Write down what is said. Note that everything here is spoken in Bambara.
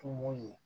Kungo ye